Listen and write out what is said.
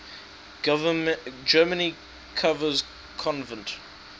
germany covers convert